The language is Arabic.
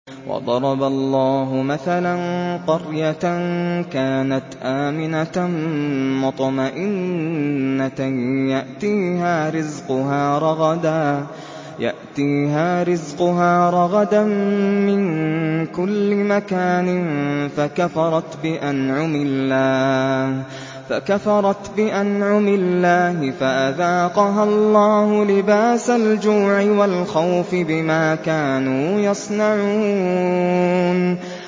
وَضَرَبَ اللَّهُ مَثَلًا قَرْيَةً كَانَتْ آمِنَةً مُّطْمَئِنَّةً يَأْتِيهَا رِزْقُهَا رَغَدًا مِّن كُلِّ مَكَانٍ فَكَفَرَتْ بِأَنْعُمِ اللَّهِ فَأَذَاقَهَا اللَّهُ لِبَاسَ الْجُوعِ وَالْخَوْفِ بِمَا كَانُوا يَصْنَعُونَ